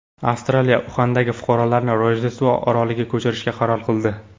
Avstraliya Uxandagi fuqarolarini Rojdestvo oroliga ko‘chirishga qaror qildi.